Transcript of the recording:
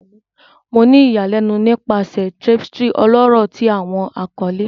Mo ni iyanilenu nipasẹ tapestry ọlọrọ ti Awọn akọle